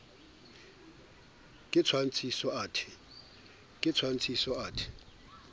ke tshwantshiso athe c ke